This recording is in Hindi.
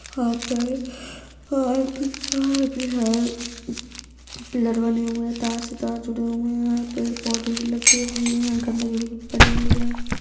यहाँ पे पिलर बने हुए है तार से तार जुड़े हुए है पेड़-पौधे भी लगे हुए है गंदगी बोहोत पड़ी हुई है।